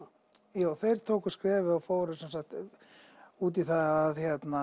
tíma jú þeir tóku skrefið og fóru út í það að